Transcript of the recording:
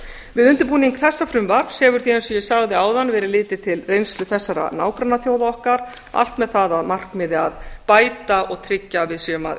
við undirbúning þessa frumvarps hefur því eins og ég sagði áðan verið litið til reynslu þessara nágrannaþjóða okkar allt með það að markmiði að bæta og tryggja að við séum að